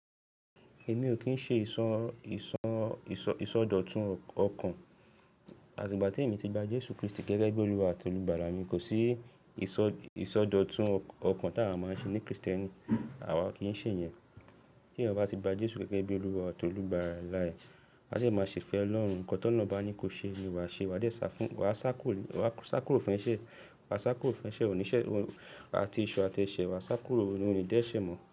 Èmi ò kín ń ṣe ìsọdọ̀tun ọkàn. Àti'gbà tí èmi ti gba Jésù Krístì gẹ́gẹ́ bí olúwa àti olùgbàlà mi, kò sí ìsọdọ̀tun ọkàn tí a wá máa ń ṣe ní Krìsténì. Àwa ò kí ń ṣè yẹn. Tí ènìyàn bá ti gba Jésù gẹ́gẹ́ bí olúwa àti olùgbàlà rẹ̀, á dè máa ṣè fẹ́ Ọlọ́run. Nǹkan tó lọ́un bá ní kó ṣe ni wàá ṣe. Wà á sá kúrò fún ẹṣẹ̀ oníṣẹ̀ àti esu àti ẹ̀ṣẹ̀. Wà sá kúrò ó ní dẹ́ṣẹ̀ mọ́.